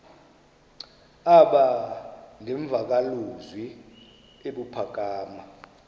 aba nemvakalozwi ebuphakama